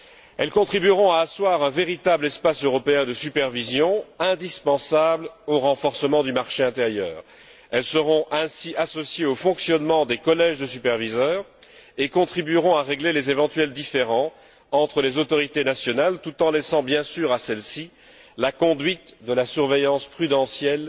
Elles contribueront à asseoir un véritable espace européen de supervision, indispensable au renforcement du marché intérieur. Elles seront ainsi associées au fonctionnement des collèges de superviseurs et contribueront à régler les éventuels différends entre les autorités nationales, tout en laissant bien sûr à celles ci la conduite de la surveillance prudentielle